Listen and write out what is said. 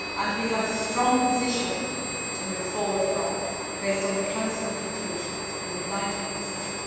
We have a strong position from which to move forward, based on the Council conclusions, a united position.